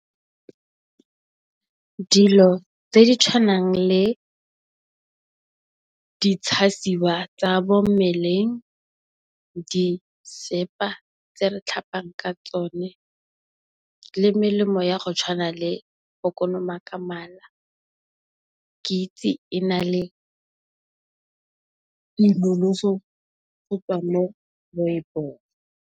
Dilo tse di tshwanang le di tshasiwa tsa mo mmeleng, di sepa tse re tlhapang ka tsone le melemo ya go tshwana le kolomaka mala ke itse e na le di nonofo gotswa mo moepong.